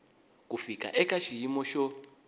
ku fika eka xiyimo xo